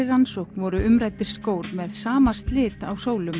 rannsókn voru umræddir skór með sama slit á